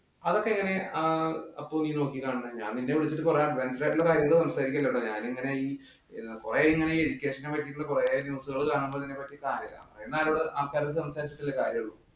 അതൊക്കെ എങ്ങനെ ഏർ അപ്പു നീ നോക്കിക്കാണുന്നേ. ഞാൻ നിന്നെ വിളിച്ചിട്ട് കൊറ advance ആയിട്ടുള്ള കാര്യങ്ങള്‍ സംസരിക്കുകയല്ലട്ടോ ഞാന്‍. ഞാന്‍ ഇങ്ങനെ ഈ കൊറേ ഇങ്ങനെ ഈ education നെ പറ്റീട്ടുള്ള കൊറേ ഇങ്ങനെ news കാണുമ്പോ അറിയുന്ന ആള്‍ക്കാരോട് സംസാരിചിട്ടല്ലേ കാര്യം ഉള്ളൂ.